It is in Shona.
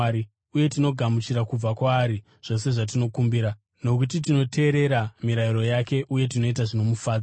uye tinogamuchira kubva kwaari zvose zvatinokumbira, nokuti tinoteerera mirayiro yake uye tinoita zvinomufadza.